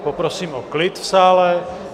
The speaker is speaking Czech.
Poprosím o klid v sále.